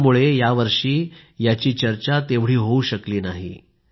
कोरोनामुळे यावर्षी याची चर्चा तेवढी होऊ शकली नाही